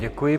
Děkuji.